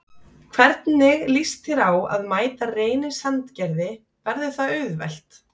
Hvernig lýst þér á að mæta Reyni Sandgerði, verður það auðvelt?